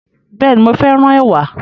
Bẹ́ẹ̀ni, mo féràn ẹ̀wà